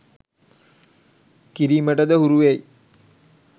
කිරීමටද හුරුවෙයි.